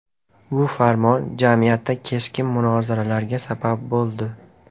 Bu farmon jamiyatda keskin munozaralarga sabab bo‘ldi.